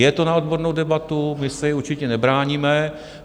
Je to na odbornou debatu, my se jí určitě nebráníme.